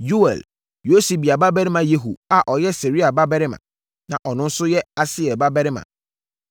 Yoɛl, Yosibia babarima Yehu a ɔyɛ Seraia babarima, na ɔno nso yɛ Asiel babarima,